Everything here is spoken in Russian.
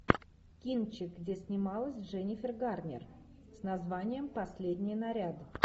кинчик где снималась дженнифер гарнер с названием последний наряд